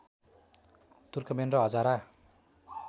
Turkmen र हजारा